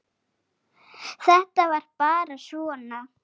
Þetta var bara svona.